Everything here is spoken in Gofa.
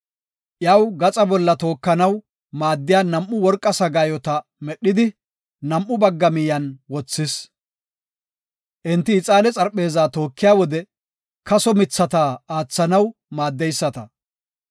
Iyaw gaxa bolla tookanaw maaddiya nam7u worqa sagaayota medhidi, nam7u bagga miyiyan wothis. Enti ixaane xarpheezaa tookiya wode kaso mithata aathanaw maaddeyisata.